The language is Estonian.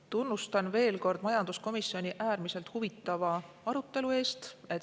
Tunnustan veel kord majanduskomisjoni äärmiselt huvitava arutelu eest.